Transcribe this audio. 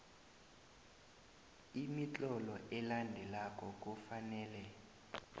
imitlolo elandelako kufanele